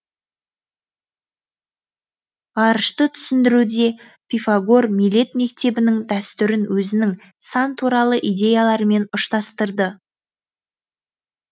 ғарышты түсіндіруде пифагор милет мектебінің дәстүрін өзінің сан туралы идеяларымен ұштастырды